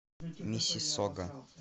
миссиссога